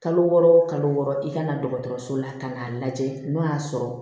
Kalo wɔɔrɔ o kalo wɔɔrɔ i ka na dɔgɔtɔrɔso la tan k'a lajɛ n'o y'a sɔrɔ